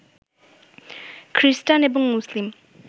খ্রিস্টান এবং মুসলিম